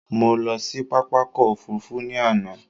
Mo lọ sí pápákọ̀ òfurufú ní àná.